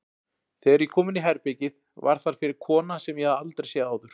Þegar ég kom inní herbergið var þar fyrir kona sem ég hafði aldrei séð áður.